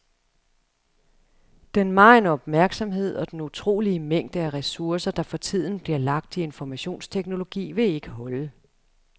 Den megen opmærksomhed og den utrolige mængde af ressourcer, der for tiden bliver lagt i informationsteknologi, vil ikke holde.